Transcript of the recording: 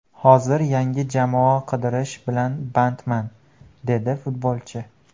Hozir yangi jamoa qidirish bilan bandman”, dedi futbolchi.